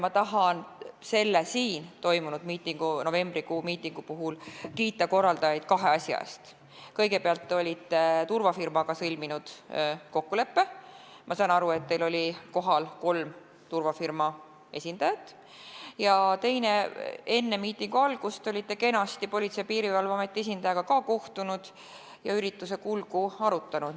Ma tahan selle siin toimunud novembrikuu miitingu puhul kiita korraldajaid kahe asja eest: kõigepealt, te olite turvafirmaga sõlminud kokkuleppe, ma saan aru, et teil olid kohal kolm turvafirma esindajat, ja teiseks, enne miitingu algust olite kenasti Politsei- ja Piirivalveameti esindajaga kohtunud ja ürituse kulgu arutanud.